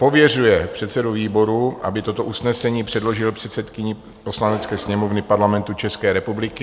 pověřuje předsedu výboru, aby toto usnesení předložil předsedkyni Poslanecké sněmovny Parlamentu České republiky;